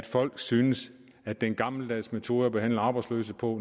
folk syntes at den gammeldags metode at behandle arbejdsløse på